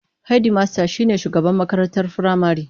Hedmasta shine shugaban makarantar firamare.